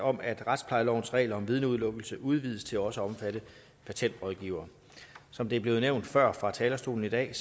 om at retsplejelovens regler om vidneudelukkelse udvides til også at omfatte patentrådgivere som det er blevet nævnt før fra talerstolen i dag